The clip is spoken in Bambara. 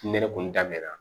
Ne yɛrɛ kun daminɛna